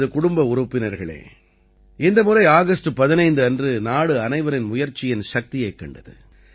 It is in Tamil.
எனது குடும்ப உறுப்பினர்களே இந்த முறை ஆகஸ்ட் 15 அன்று நாடு அனைவரின் முயற்சியின் சக்தியைக் கண்டது